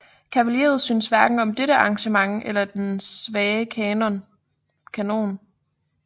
Kavaleriet syntes hverken om dette arrangement eller om den svage kanon